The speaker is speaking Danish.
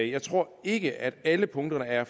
jeg tror ikke at alle punkterne er